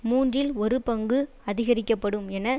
மூன்றில் ஒரு பங்கு அதிகரிக்கப்படும் என